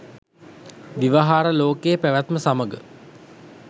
ව්‍යවහාර ලෝකයේ පැවැත්ම සමඟ